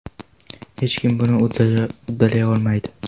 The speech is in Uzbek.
Hech kim buni uddalay olmaydi!